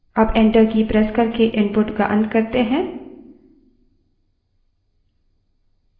अब enter की press करके input का अंत करें